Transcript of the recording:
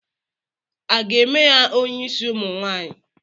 A ga-eme ya onyeisi ụmụ nwanyị?